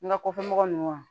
N ga kɔfɛ mɔgɔ nunnu wa